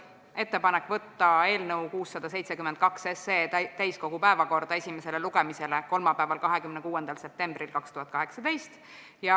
Meil oli ettepanek võtta eelnõu 672 täiskogu päevakorda esimesele lugemisele kolmapäeval, 26. septembril 2018.